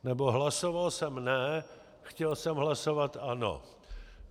Nebo hlasoval jsem ne, chtěl jsem hlasovat ano."